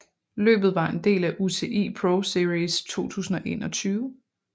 Løbet var en del af UCI ProSeries 2021